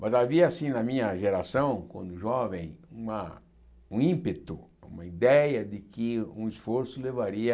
Mas havia, assim, na minha geração, quando jovem, uma um ímpeto, uma ideia de que um esforço levaria